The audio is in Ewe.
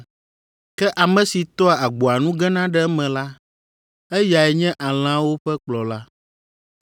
Ke ame si toa agboa nu gena ɖe eme la, eyae nye alẽawo ƒe kplɔla.